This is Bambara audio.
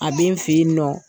A bɛ n fɛ yen nɔ.